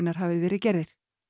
hafi verið gerðir